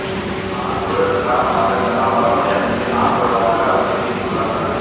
ஆனால் ஊரடங்கு காரணமாக தன்னால் வரமுடியாத நிலை காணப்படுவதாக அவர் தெரிவித்துள்ளார்